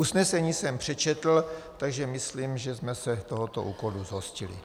Usnesení jsem přečetl, takže myslím, že jsme se tohoto úkolu zhostili.